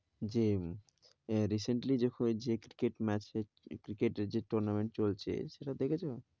যে, recently যে cricket match এ cricket এর যে tournament চলছে সেটা দেখেছো?